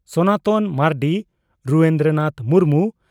Sanatan Marandi Rudra Nath Murmu